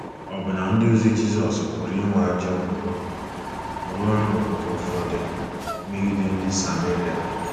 Ọbụna ndịozi Jizọs pụrụ inwe ajọ mbunobi ruo n’ókè ụfọdụ megide ndị Sameria.